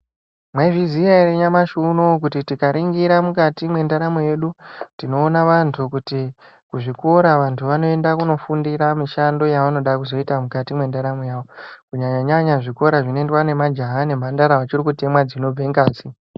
Maizviziya ere nyamashi unouyu kuti tikaringira mukati mwendaramo yedu. Tinoona vantu kuti kuzvikora vantu vanoenda kundo fundira mishando yavanoda kuzoita mukati mwendaramo yavo. Kunyanya-nyanya zvikora zvinoendwa nemajaha nemhandara vachiri kutemwa dzinobude ngazi.